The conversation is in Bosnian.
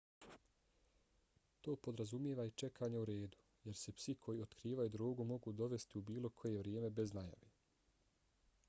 to podrazumijeva i čekanje u redu jer se psi koji otkrivaju drogu mogu dovesti u bilo koje vrijeme bez najave